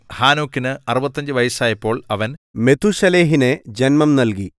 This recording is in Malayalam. ഹാനോക്കിന് 65 വയസ്സായപ്പോൾ അവൻ മെഥൂശലഹിനെ ജന്മം നൽകി